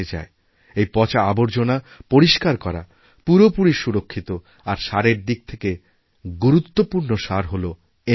এই পচা আবর্জনা পরিস্কার করা পুরোপুরি সুরক্ষিত আর সারের দিক থেকেগুরুত্বপূর্ণ সার হল এনপিকে